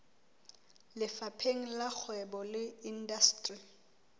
lefapheng la kgwebo le indasteri